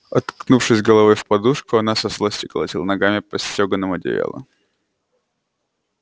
уткнувшись головой в подушку она со злости колотила ногами по стёганому одеялу